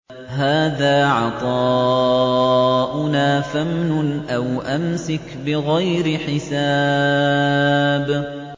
هَٰذَا عَطَاؤُنَا فَامْنُنْ أَوْ أَمْسِكْ بِغَيْرِ حِسَابٍ